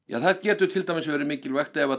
það getur til dæmis verið mikilvægt ef